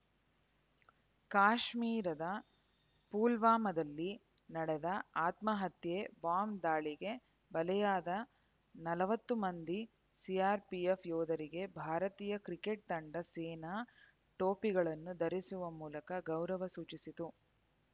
ಕಾಶ್ಮೀರದ ಪುಲ್ವಾಮಾದಲ್ಲಿ ನಡೆದ ಆತ್ಮಹತ್ಯೆ ಬಾಂಬ್ ದಾಳಿಗೆ ಬಲೆಯಾದ ನಲವತ್ತು ಮಂದಿ ಸಿಆರ್‌ಪಿಎಫ್ ಯೋಧರಿಗೆ ಭಾರತೀಯ ಕ್ರಿಕೆಟ್ ತಂಡ ಸೇನಾ ಟೋಪಿಗಳನ್ನು ಧರಿಸುವ ಮೂಲಕ ಗೌರವ ಸೂಚಿಸಿತು